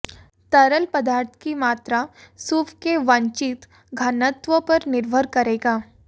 तरल पदार्थ की मात्रा सूप के वांछित घनत्व पर निर्भर करेगा